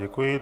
Děkuji.